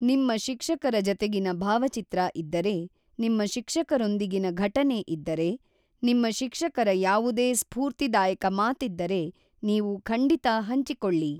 ನಿಮ್ಮ ಶಿಕ್ಷಕರ ಜತೆಗಿನ ಭಾವಚಿತ್ರ ಇದ್ದರೆ, ನಿಮ್ಮ ಶಿಕ್ಷಕರೊಂದಿಗಿನ ಘಟನೆ ಇದ್ದರೆ, ನಿಮ್ಮ ಶಿಕ್ಷಕರ ಯಾವುದೇ ಸ್ಫೂರ್ತಿದಾಯಕ ಮಾತಿದ್ದರೆ, ನೀವು ಖಂಡಿತಾ ಹಂಚಿಕೊಳ್ಳಿ.